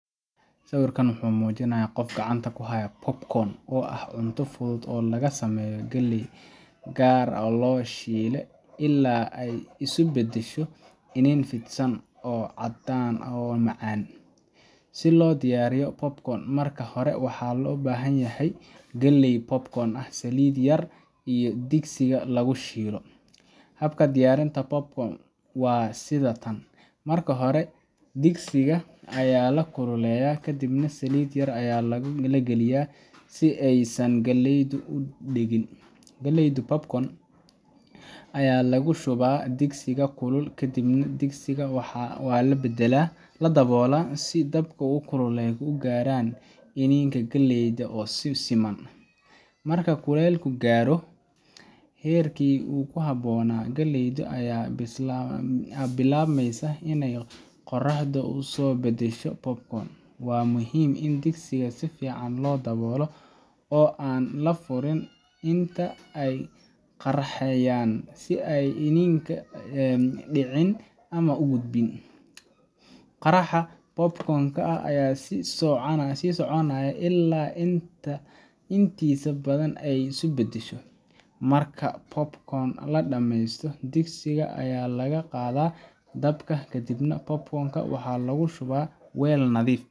Sawirkan waxa uu muujinayaa qof gacanta ku haya popcorn, oo ah cunto fudud oo laga sameeyo galley gaar ah oo la shiilo ilaa ay isu beddesho iniin fidsan oo caddaan ah oo macaan. Si loo diyaariyo popcorn, marka hore waxaa loo baahan yahay galley popcorn ah, saliid yar, iyo digsiga lagu shiilo. Habka diyaarinta popcorn-ka waa sida tan: marka hore, digsiga ayaa la kululeeyaa, kadibna saliid yar ayaa la gelaa si aysan galleydu u dhegin. Galleyda popcorn-ka ayaa lagu shubaa digsiga kulul, kadibna digsiga waxaa la daboolaa si dabka iyo kulaylka u gaaraan iniinka galleyda si siman. Marka kulaylku gaaro heerkii ku habboonaa, galleyda ayaa bilaabmaysa inay qaraxdo oo isu beddesho popcorn. Waa muhiim in digsiga si fiican loo daboolo oo aan la furin inta ay qaraxayaan si aysan iniinka u dhicin ama u gubin. Qaraxa popcorn-ka ayaa sii soconaya ilaa inta intiisa badan ay isu beddesho. Marka popcorn-ka la dhammeeyo, digsiga ayaa laga qaadaa dabka, kadibna popcorn-ka waxaa lagu shubaa weel nadiif .